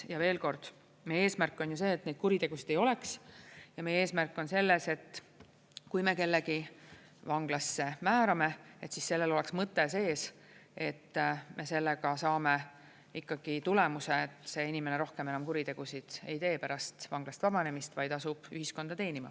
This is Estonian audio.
Ja veel kord, meie eesmärk on ju see, et neid kuritegusid ei oleks, ja meie eesmärk on selles, et kui me kellegi vanglasse määrame, siis sellel oleks mõte sees, et me sellega saame ikkagi tulemuse, et see inimene rohkem enam kuritegusid ei tee pärast vanglast vabanemist, vaid asub ühiskonda teenima.